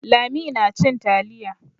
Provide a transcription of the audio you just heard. Lami nacin taliya.